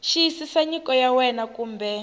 xiyisisa nyiko ya wena kumbe